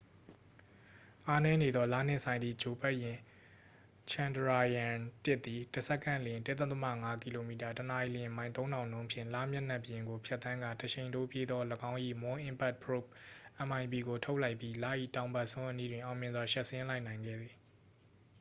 အားနည်းနေသော လနှင့်ဆိုင်သည့် ဂြိုလ်ပတ်ယာဉ် chandrayaan-၁ သည် တစ်စက္ကန့်လျှင် ၁.၅ ကီလိုမီတာ တစ်နာရီ မိုင် ၃၀၀၀ နှုန်း ဖြင့် လမျက်နှာပြင်ကို ဖြတ်သန်းကာ တရှိန်ထိုးပြေးသော ၎င်း၏ moon impact probe mip ကိုထုတ်လိုက်ပြီး လ၏ တောင်ဘက်စွန်း အနီးတွင် အောင်မြင်စွာ ရှပ်ဆင်းလိုက်နိုင်ခဲ့ပါသည်။